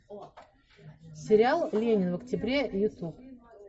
сериал ленин в октябре ютуб